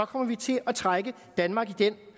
kommer vi til at trække danmark i den